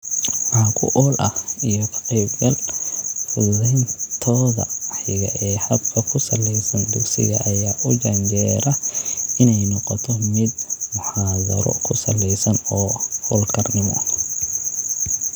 Wax ku ool ah, iyo ka-qaybgal, fududayntooda xiga ee habka ku salaysan dugsiga ayaa u janjeera in ay noqoto mid muxaadaro ku salaysan oo hawlkarnimo.